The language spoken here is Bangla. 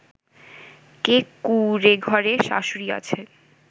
যে কুঁড়েঘরে শাশুড়ী আছে